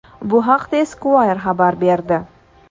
Bu haqda Esquire xabar berdi.